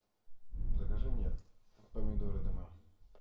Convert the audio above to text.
закажи мне помидоры домой